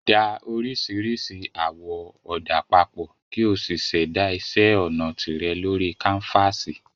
Da oríṣiríṣi àwọ̀ ọ̀dà papọ̀ kí o sì ṣẹ̀dá iṣẹ́ ọnà tìrẹ lórí káńfàsì